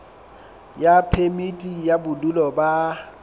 ya phemiti ya bodulo ba